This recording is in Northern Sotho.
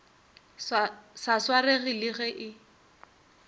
sa swarege le ge e